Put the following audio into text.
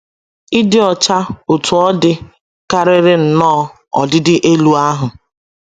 ịdi ọcha ,Otú ọ dị, karịrị nnọọ ọdịdị elu ahụ́.